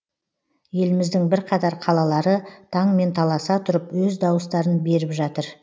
еліміздің бірқатар қалалары таңмен таласа тұрып өз дауыстарын беріп жатыр